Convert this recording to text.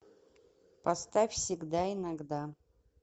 поставь всегда иногда